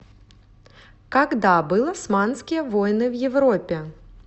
когда был османские войны в европе